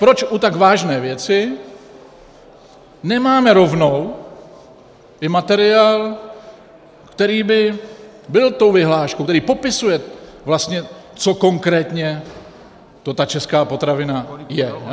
Proč u tak vážné věci nemáme rovnou i materiál, který by byl tou vyhláškou, který popisuje vlastně, co konkrétně to ta česká potravina je?